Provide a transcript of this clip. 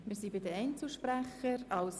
Wir sind bei den Einzelsprechern angelangt.